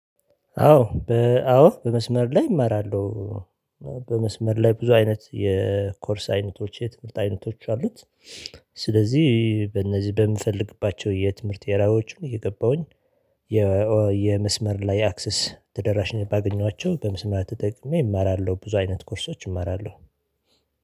አዎ በመስመር ላይ እማራለሁ በመስመር ላይ ብዙ አይነት የኮርስ አይነቶች የትምህርት አይነቶች አሉት ስለዚህ በእነዚህ በምፈልግባቸው የትምህርት ሄራዮችን እየገባሁኝ የመስመር ላይ አክሰስ ተደራሽ ነው ባገኟቸው በመስመር ተጠቅሜ እማራለሁ ብዙ አይነት ኮርሶች እማራለሁ።